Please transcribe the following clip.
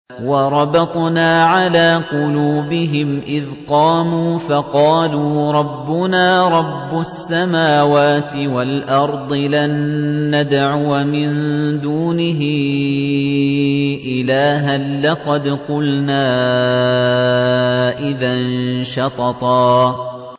وَرَبَطْنَا عَلَىٰ قُلُوبِهِمْ إِذْ قَامُوا فَقَالُوا رَبُّنَا رَبُّ السَّمَاوَاتِ وَالْأَرْضِ لَن نَّدْعُوَ مِن دُونِهِ إِلَٰهًا ۖ لَّقَدْ قُلْنَا إِذًا شَطَطًا